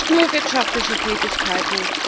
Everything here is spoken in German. Nicht nur für wirtschaftliche Tätigkeiten.